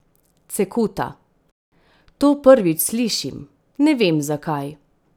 Cekuta: "To prvič slišim, ne vem zakaj.